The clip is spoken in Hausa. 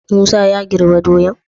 Musa ya girbe doyan?